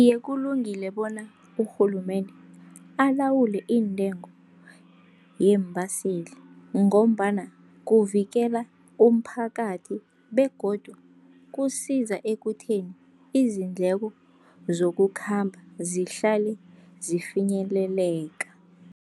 Iye, kulungile bona urhulumende alawule iintengo yeembaseli, ngombana kuvikela umphakathi begodu kusiza ekutheni izindleko zokukhamba zihlale zifinyeleleka.